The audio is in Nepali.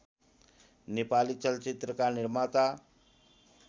नेपाली चलचित्रका निर्माता